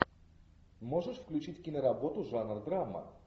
можешь включить киноработу жанр драма